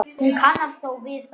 Hún kannast þó við það.